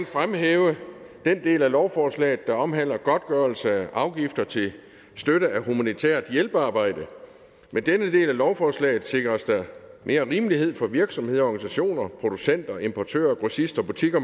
fremhæve den del af lovforslaget der omhandler godtgørelse af afgifter til støtte af humanitært hjælpearbejde med denne del af lovforslaget sikres der mere rimelighed for virksomheder organisationer producenter importører grossister butikker